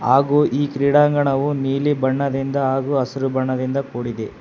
ಹಾಗು ಈ ಕ್ರೀಡಾಂಗಣವು ನೀಲಿ ಬಣ್ಣದಿಂದ ಮತ್ತು ಹಸಿರು ಬಣ್ಣದಿಂದ ಕೂಡಿದೆ.